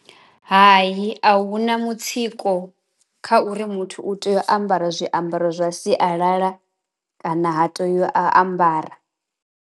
Hayi a huna mutsiko kha uri muthu u tea u ambara zwiambaro zwa sialala kana ha tei a ambara.